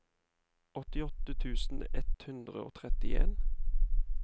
åttiåtte tusen ett hundre og trettien